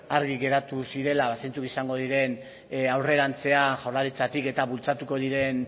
argi geratu zirela zeintzuk izango diren aurrerantzean jaurlaritzatik eta bultzatuko diren